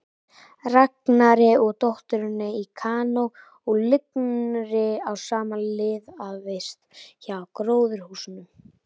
Ragnari og dótturinni í kanó á lygnri á sem liðaðist hjá gróðurhúsunum.